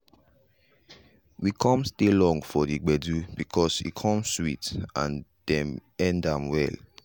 we come stay long for the gbedu because e come sweet and dem end am well.